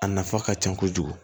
A nafa ka ca kojugu